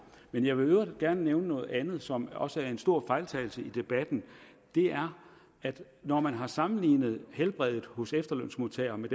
men jeg vil i øvrigt gerne nævne noget andet som også er en stor fejltagelse i debatten når man har sammenlignet helbredet hos efterlønsmodtagere med